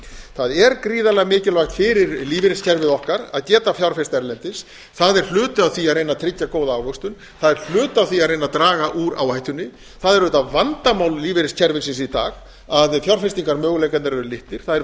það er gríðarlega mikilvægt fyrir lífeyriskerfið okkar að geta fjárfest erlendis það er hluti af því að reyna að tryggja góða ávöxtun það er hluti af því að reyna að draga úr áhættunni það er auðvitað vandamál lífeyriskerfisins í dag að fjárfestingarmöguleikarnir eru litlir það er